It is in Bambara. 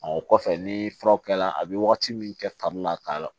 Ɔ o kɔfɛ ni furaw kɛra a bɛ wagati min kɛ fari la k'a